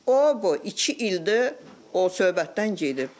O bu iki ildir o söhbətdən gedib.